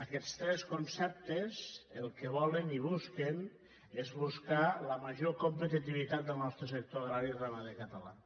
aquests tres conceptes el que volen i busquen és buscar la major competitivitat del nostre sector agrari i ramader català